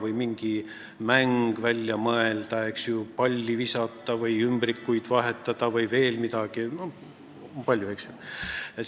Tuli mingi mäng välja mõelda: palli visata, ümbrikuid vahetada vms.